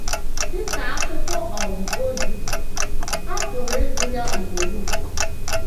Dị ka akwụkwọ um ozi, a pụrụ ịgụ ya ugboro ugboro.